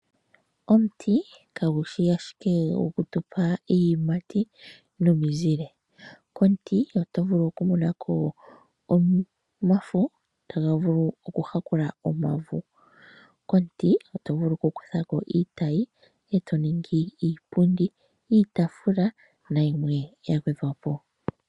Omuti kagu shi ashike goku tupa iiyimati nomizile. Komuti oto vulu oku monako omafo taga vulu oku yakula omauvu. Komuti oto vulu oku kuthako iitayi eto ningi iipundi, iitaafula na yimwe ya gwedhwapo.